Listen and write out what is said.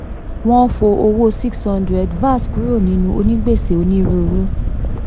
wọ́n fo owó six hundred vas kúrò nínú onígbèsè onírúurú.